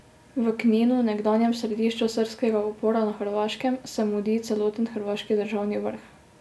V Kninu, nekdanjem središču srbskega upora na Hrvaškem, se mudi celoten hrvaški državni vrh.